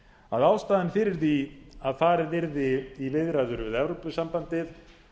að ástæðan fyrir því að farið yrði í viðræður við evrópusambandið